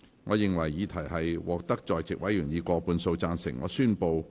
我認為議題獲得在席委員以過半數贊成。